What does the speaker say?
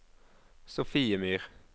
Sofiemyr